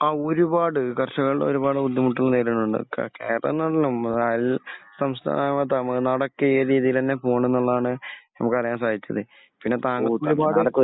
ആ. ഒരുപാട്. കർഷകർ ഒരുപാട് ബുദ്ധിമുട്ടുന്ന നേരങ്ങളുണ്ട്. അയൽ സംസ്ഥാനമായ തമിഴ് നാടൊക്കെ ഈ രീതിയിൽ തന്നെ പോകുന്നുണ്ടെന്നാണ് നമുക്ക് അറിയാൻ സാധിച്ചത്. പിന്നെ